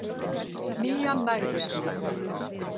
Nían nægði ekki